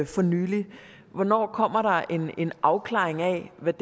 for nylig hvornår kommer der en afklaring af hvad